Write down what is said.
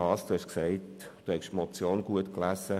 Grossrat Haas hat gesagt, er habe die Motion gut gelesen.